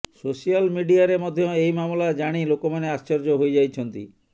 social ମିଡିଆରେ ମଧ୍ୟ ଏହି ମାମଲା ଜାଣି ଲୋକମାନେ ଆଶ୍ଚର୍ଯ୍ୟ ହୋଇଯାଇଛନ୍ତି